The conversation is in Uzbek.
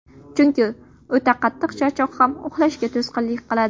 Chunki o‘ta qattiq charchoq ham uxlashga to‘sqinlik qiladi.